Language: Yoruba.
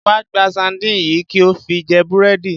Wá gba sardines yìí kí o fi jẹ búrẹ́dì.